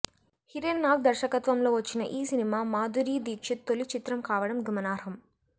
హిరెన్ నాగ్ దర్శకత్వంలో వచ్చిన ఈ సినిమా మాధురీ దీక్షిత్ తొలి చిత్రం కావడం గమనార్హం